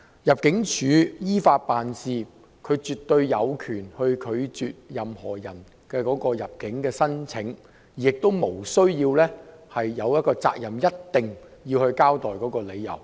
入境處依法辦事，絕對有權拒絕任何人的入境申請，亦無責任一定要交代理由。